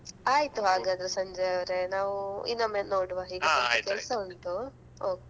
ಆಯ್ತು ಹಾಗಾದರೆ ಸಂಜಯವರೇ ನಾವು ಇನ್ನೊಮ್ಮೆ ನೋಡುವ ಹೀಗೆ ಉಂಟು okay.